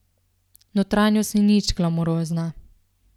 Notranjost ni nič glamurozna.